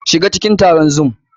SHiga cikin taron Zoom!